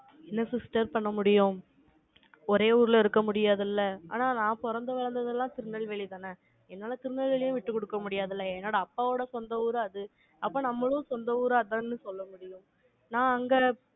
என்ன sister பண்ண முடியும்? ஒரே ஊர்ல இருக்க முடியாது இல்லை? ஆனால், நான் பிறந்து வளர்ந்தது எல்லாம் திருநெல்வேலிதானே என்னால திருநெல்வேலியை விட்டுக் கொடுக்க முடியாதுல்ல. என்னோட அப்பாவோட சொந்த ஊர் தான் அது. அப்ப நம்மளும் சொந்த ஊரு அதுதான்னு சொல்லணும். நான் அங்க